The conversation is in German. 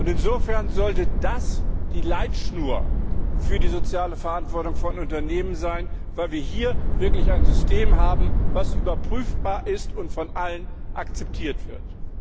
Insofern sollte das die Leitschnur für die soziale Verantwortung von Unternehmen sein, weil wir hier wirklich ein System haben, das überprüfbar ist und von allen akzeptiert wird.